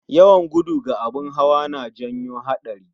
Yawan gudu ga abun hawa na janyo hatsari